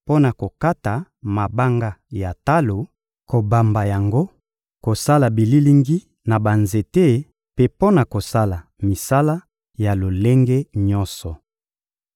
mpo na kokata mabanga ya talo, kobamba yango, kosala bililingi na banzete mpe mpo na kosala misala ya lolenge nyonso.